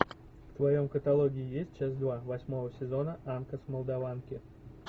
в твоем каталоге есть часть два восьмого сезона анка с молдаванки